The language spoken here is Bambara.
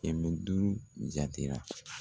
Kɛmɛ duuru jatera.